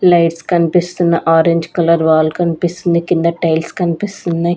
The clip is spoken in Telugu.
లైట్స్ కన్పిస్తున్న ఆరెంజ్ కలర్ వాల్ కన్పిస్తుంది కింద టైల్స్ కన్పిస్తున్నయ్.